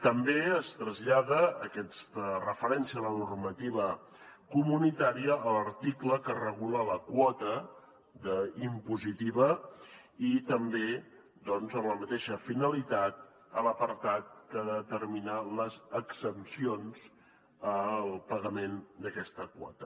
també es trasllada aquesta referència a la normativa comunitària a l’article que regula la quota impositiva i també doncs amb la mateixa finalitat a l’apartat que determina les exempcions al pagament d’aquesta quota